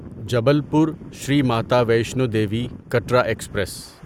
Jabalpur Shri Mata Vaishno Devi Katra express